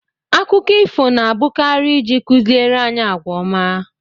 Akụkọ ifo na abụkarị ịji kụziere anyị àgwà ọma